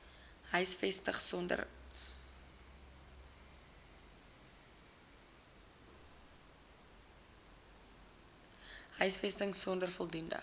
huisvesting sonder voldoende